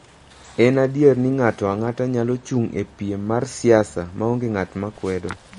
En adier ni ng'ato ang'ata nyalo chung' e piem mar siasa ma onge ng'at ma kwedo.